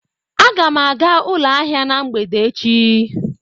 Aga m aga ụlọ ahịa na mgbede echi.